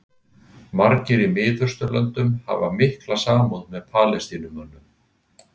Margir í Mið-Austurlöndum hafa mjög mikla samúð með Palestínumönnum.